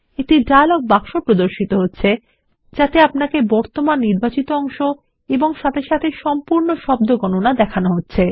একটি dialog box প্রদর্শিত হছে যাতে আপনাকে বর্তমান নির্বাচিত অংশ সাথে সাথে সম্পূর্ণ শব্দ গণনাও দেখানো হচ্ছে